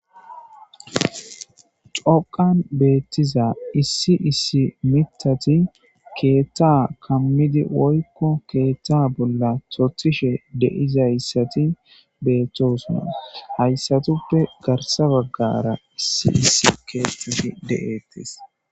xoqan beettiza issi issi mitati keetta kammidi woykko keetta bolla tothishe deizayssati beettosuna hayssatuppe garsa baggara issi issi keettafi deettes